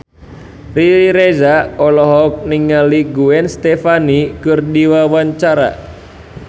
Riri Reza olohok ningali Gwen Stefani keur diwawancara